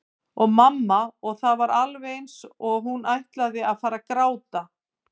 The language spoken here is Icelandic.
sagði mamma og það var alveg eins og hún ætlaði að fara að gráta.